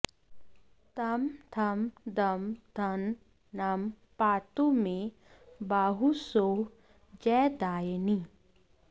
तं थं दं धं नं पातु मे बाहू सौः जयदायिनी